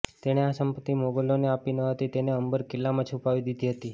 તેણે આ સંપત્તિ મોગલોને આપી ન હતી અને તેને અંબર કિલ્લામાં છુપાવી દીધી હતી